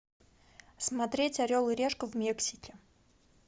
смотреть орел и решка в мексике